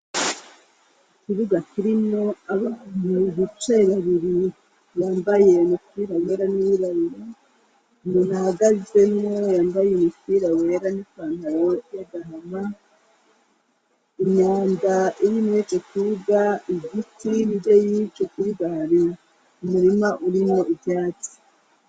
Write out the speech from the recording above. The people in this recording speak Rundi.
Ikibuga kirino abantu igice ibabiri yambaye umupira wera n'iwibariro ndi raagazemo yambaye umupira wera n'ipantaro y'agahama imyanda iyinibeco kubuga igiti bbye yice kubibabi umurima urimo ivyatsi.